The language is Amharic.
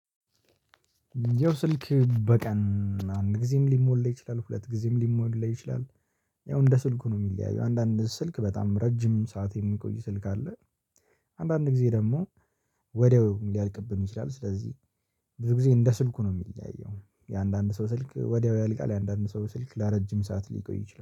የው ስልክ በቀን አንድ ጊዜም ሊሞላ ይችላል ሁለት ጊዜም ሊሞላ ይችላል። ያው እንደ ስልኩ ነው የሚለያየው አንዳንድ ስልክ በጣም ረጅም ሰዓት የሚቆይ ስልክ አለ። አንዳንድ ጊዜ ደግሞ ወዲያው ሊያልቅብን ይችላል። ስለዚህ ብዙ ጊዜ እንደ ስልኩ ነው የሚለየው የአንዳንድ ሰው ስልክ ወዲያው ያልቃል። የአንዳንድ ሰው ስልክ ለረጅም ሰዓት ሊቆይ ይችላል